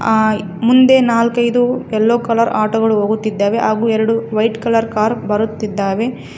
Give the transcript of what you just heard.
ಆ ಮುಂದೆ ನಾಲ್ಕೈದು ಎಲ್ಲೋ ಕಲರ್ ಆಟೋ ಗಳು ಹೋಗುತ್ತಿದ್ದಾವೆ ಹಾಗು ಎರಡು ವೈಟ್ ಕಲರ್ ಕಾರ್ ಬರುತ್ತಿದ್ದಾವೆ.